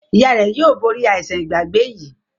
ìyá rẹ yóò bori aisan Ìgbàgbé yí.